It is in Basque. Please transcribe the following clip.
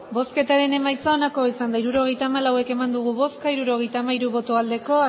hirurogeita hamalau eman dugu bozka hirurogeita hamairu bai bat